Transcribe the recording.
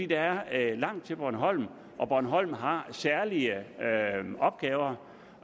der er langt til bornholm og bornholm har særlige opgaver